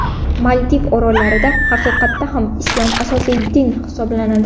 Maldiv orollarida haqiqatda ham islom – asosiy din hisoblanadi.